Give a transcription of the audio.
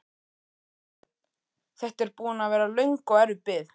Björn: Þetta er búin að vera löng og erfið bið?